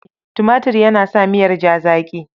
Tumatur yana sa miyar ja zaƙi.